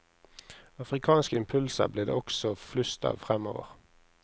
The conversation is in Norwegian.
Afrikanske impulser blir det også flust av fremover.